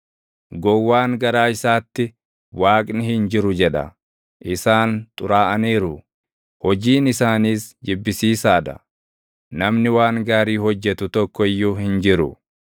Gowwaan garaa isaatti, “Waaqni hin jiru” jedha. Isaan xuraaʼaniiru; hojiin isaaniis jibbisiisaa dha; namni waan gaarii hojjetu tokko iyyuu hin jiru.